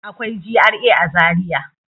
Akwai GRA a Zariya.